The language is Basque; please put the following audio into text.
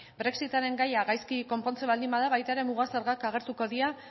brexitaren gaia gaizki konpontzen baldin bada baita ere muga zergak agertuko dira